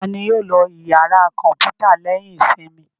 Ta ni yóò lọ ìyàrá kọ̀ǹpútà lẹ́yìn ìsinmi?